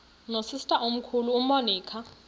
nosister omkhulu umonica